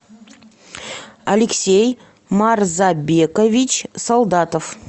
алексей марзабекович солдатов